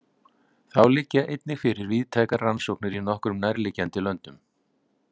Þá liggja einnig fyrir víðtækar rannsóknir í nokkrum nærliggjandi löndum.